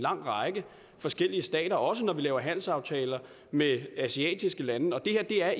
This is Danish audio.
række forskellige stater også når vi laver handelsaftaler med asiatiske lande og det her er